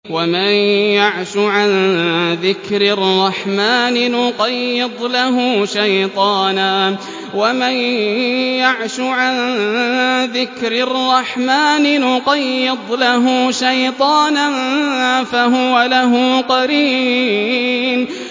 وَمَن يَعْشُ عَن ذِكْرِ الرَّحْمَٰنِ نُقَيِّضْ لَهُ شَيْطَانًا فَهُوَ لَهُ قَرِينٌ